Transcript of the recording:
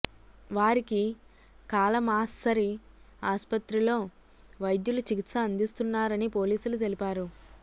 వారికి కాలమాస్సరీ ఆస్పత్రిలో వైద్యులు చికిత్స అందిస్తున్నారని పోలీసులు తెలిపారు